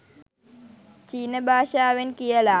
චීන භාෂාවෙන් කියලා.